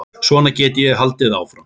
Svona gæti ég haldið áfram.